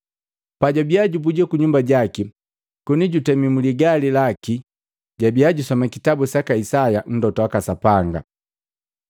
Pajukubika jubuja kunyumba jaki koni jutemi muligali laki jabia jusoma kitabu saka Isaya Mlota waka Sapanga.